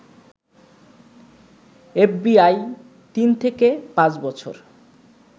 FBI তিন থেকে পাঁচ বছর